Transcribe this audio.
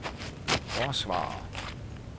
forsvarer